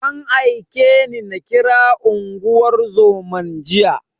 An aike ni na kira unguwar zoman jiya.